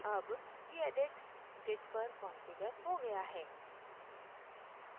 अब gedit git पर configure हो गया है